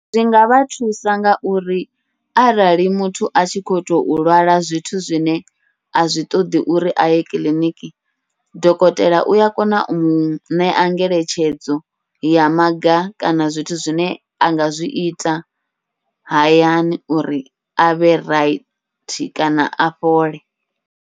Zwi ngavha thusa ngauri arali muthu a tshi khou tou lwala zwithu zwine a zwi ṱoḓi uri aye kiḽiniki, dokotela uya kona u muṋea ngeletshedzo ya maga kana zwithu zwine anga zwiita, hayani uri avhe raithi kana a fhole.